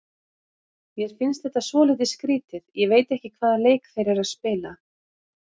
Mér finnst þetta svolítið skrýtið, ég veit ekki hvaða leik þeir eru að spila.